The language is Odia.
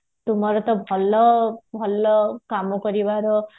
ତୁମର ତ ଭଲ ଭଲ କାମ କରିବା ର